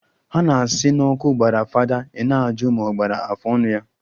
Ha na-asi n'ọkụ gbara fada i na-ajụ ma o gbakwara afọọnụ ya